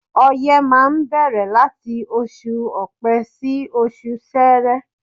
Oye máa ń bẹ̀rẹ̀ láti oṣù Ọpẹ sí oṣù sere.